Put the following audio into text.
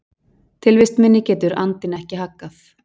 Tilvist minni getur andinn ekki haggað.